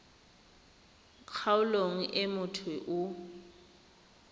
kgaolong e motho yo o